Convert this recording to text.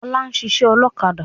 Ọlá ń ṣiṣẹ́ ọlọ́kadà